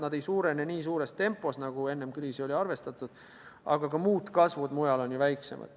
Need ei suurene nii suures tempos, nagu enne kriisi oli arvestatud, aga ka muud kasvud mujal on ju väiksemad.